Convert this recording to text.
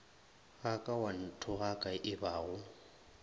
ga ka wa nthogaka ebago